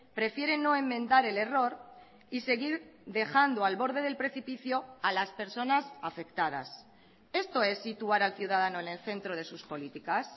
prefiere no enmendar el error y seguir dejando al borde del precipicio a las personas afectadas esto es situar al ciudadano en el centro de sus políticas